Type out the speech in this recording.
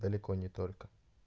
далеко не только